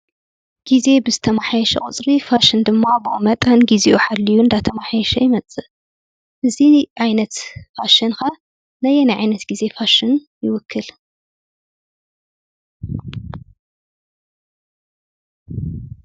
ግዜ ብዝተመሓየሸ ቁፅሪ ፋሽን ድማ ብኡኡ መጠን ግዚኡ ሓልዩ እንዳተመሓየሸ ይመፅእ፡፡ እዚ ዓይነት ፋሽን ኸ ነየናይ ዓይነት ግዜ ፋሽን ይውክል?